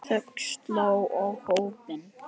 Þögn sló á hópinn.